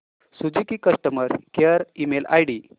Suzuki customer care email ID